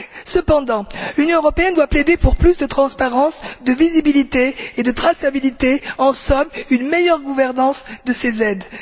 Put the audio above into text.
Cependant, l'Union européenne doit plaider pour plus de transparence, de visibilité et de traçabilité, en somme pour une meilleure gouvernance de ces aides.